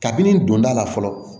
Kabini don da la fɔlɔ